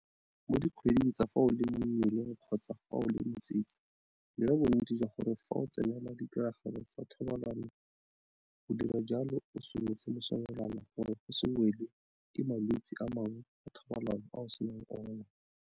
Mo dikgweding tsa fa o le mo mmeleng kgotsa fa o le motsetse dira bonnete jwa gore fa o tsenela ditiragalo tsa thobalano o dira jalo o sometse mosomelwana gore o se welwe ke malwetse a mangwe a thobalano a o senang ona.